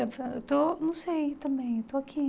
Eu falei eu estou, não sei, também, estou aqui.